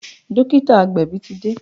Dókítà agbẹ̀bí ti dé